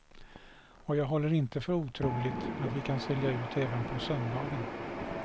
Och jag håller det inte för otroligt att vi kan sälja ut även på söndagen.